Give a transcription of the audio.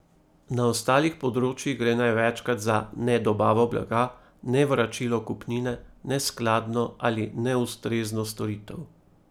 Na ostalih področjih gre največkrat za nedobavo blaga, nevračilo kupnine, neskladno ali neustrezno storitev.